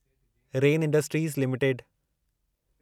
rain industries limited